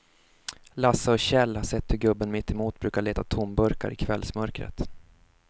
Lasse och Kjell har sett hur gubben mittemot brukar leta tomburkar i kvällsmörkret.